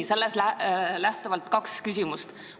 Sellest lähtuvalt kaks küsimust.